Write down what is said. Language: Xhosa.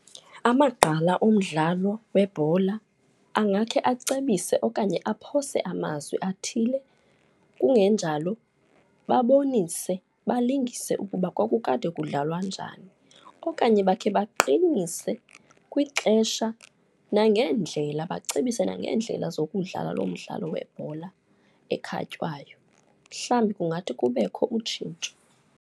Amagqala omdlalo webhola angekhe acebise okanye aphose amazwi athile kungenjalo babonise, balingise ukuba kwakukade kudlalwa njani. Okanye bakhe baqinise kwixesha nangeendlela, bacebise nangeendlela zokudlala lo mdlalo webhola ekhatywayo, mhlawumbi kungathi kubekho utshintsho.